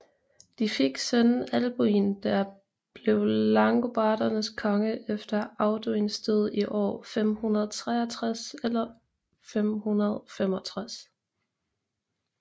De fik sønnen Alboin der blev langobardernes konge efter Audoins død i år 563 eller 565